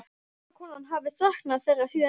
Gamla konan hafi saknað þeirra síðan ég.